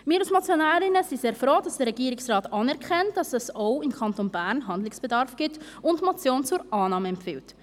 Wir als Motionärinnen sind sehr froh, dass der Regierungsrat anerkennt, dass es auch im Kanton Bern Handlungsbedarf gibt und er die Motion zur Annahme empfiehlt.